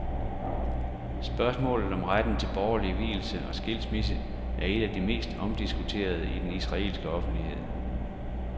Spørgsmålet om retten til borgerlig vielse og skilsmisse er et af de mest omdiskuterede i den israelske offentlighed.